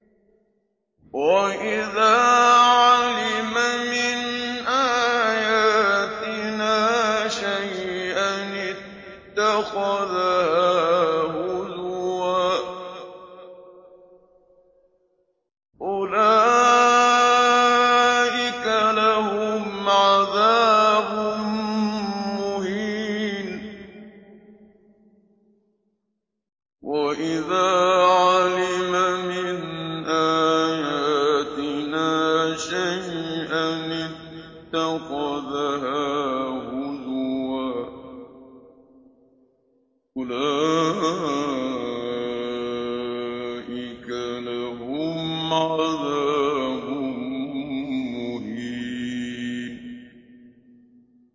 وَإِذَا عَلِمَ مِنْ آيَاتِنَا شَيْئًا اتَّخَذَهَا هُزُوًا ۚ أُولَٰئِكَ لَهُمْ عَذَابٌ مُّهِينٌ